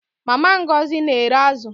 Mama Ngozi n'ere azu